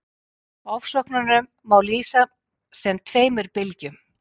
ofsóknunum má lýsa sem tveimur bylgjum